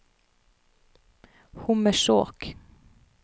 Hommersåk